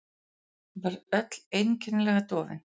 Ég var öll einkennilega dofin.